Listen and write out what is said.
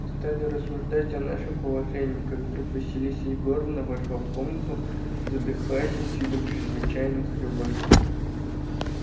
мы стали рассуждать о нашем положении как вдруг василиса егоровна вошла в комнату задыхаясь и с видом чрезвычайно встревоженным